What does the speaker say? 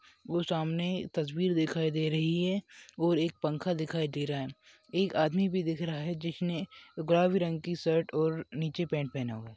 वो सामने तस्वीर दिखाई दे रही है और एक पंखा दिखाई दे रहा है एक आदमी भी दिखाई दे रहा है जिसने गुलाबी रंग की शर्ट और नीचे पैंट पहना हुआ है।